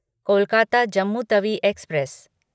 Kolkata Jammu Tawi express